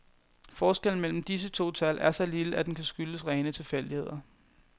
Forskellen mellem disse to tal er så lille, at den kan skyldes rene tilfældigheder.